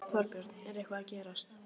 Þorbjörn: Er eitthvað að gerast?